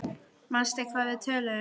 Manstu hvað við töluðum um?